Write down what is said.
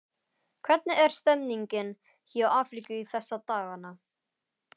Hvernig er stemningin hjá Afríku þessa dagana?